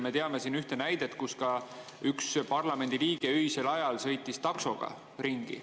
Me teame ühte näidet, kui üks parlamendiliige öisel ajal sõitis taksoga ringi.